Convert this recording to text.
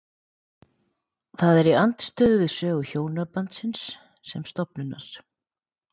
Það er í andstöðu við sögu hjónabandsins sem stofnunar.